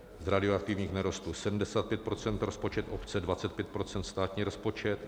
Z radioaktivních nerostů 75 % rozpočet obce, 25 % státní rozpočet.